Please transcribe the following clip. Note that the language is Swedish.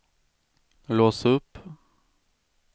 lås upp